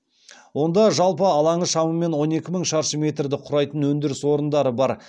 онда жалпы алаңы шамамен он екі мың шаршы метрді құрайтын өндіріс орындары бар